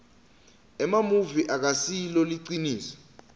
emamuvi akasilo liciniso